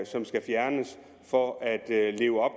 som skal fjernes for at leve op